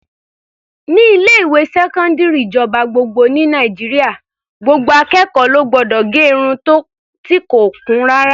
Ní ilé-ìwé sẹkọndiri ìjọba gbogbo ní Nàìjíríà, gbogbo akẹ́kọ̀ọ́ ló gbọdọ̀ gẹ irun ti kò kún rárá.